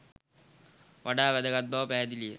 වඩා වැදගත් බව පැහැදිලි ය.